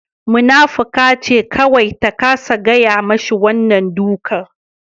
Munafuka ce kawai ta kasa gaya mashi wannan duka